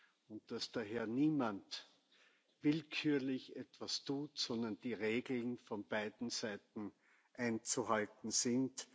erfolgt und dass daher niemand willkürlich etwas tut, sondern die Regeln von beiden Seiten einzuhalten sind.